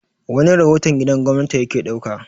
wani rahoton gidan gwamnati ya ke ɗauka